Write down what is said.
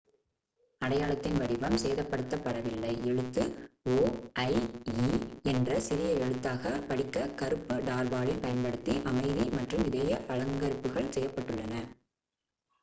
"அடையாளத்தின் வடிவம் சேதப்படுத்தப் படவில்லை; எழுத்து "o" ஐ "e" என்ற சிறிய எழுத்தாகப் படிக்க கருப்பு டார்பாலின் பயன்படுத்தி அமைதி மற்றும் இதய அலங்கரிப்புகள் செய்யப்பட்டுள்ளன.